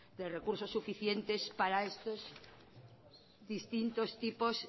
de recursos suficientes para estos distintos tipos